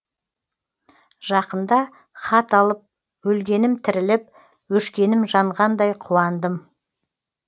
жақында хат алып өлгенім тіріліп өшкенім жанғандай қуандым